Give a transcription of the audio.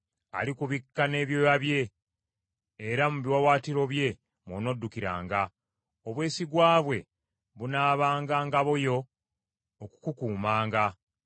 Alikubikka n’ebyoya bye, era mu biwaawaatiro bye mw’onoddukiranga; obwesigwa bwe bunaabanga ngabo yo okukukuumanga.